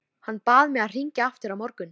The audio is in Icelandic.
Hann bað mig að hringja aftur á morgun.